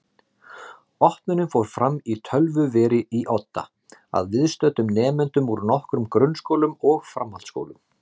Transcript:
Opnunin fór fram í tölvuveri í Odda að viðstöddum nemendum úr nokkrum grunnskólum og framhaldsskólum.